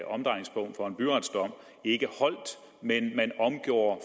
omdrejningspunkt for en byretsdom ikke holdt men man omgjorde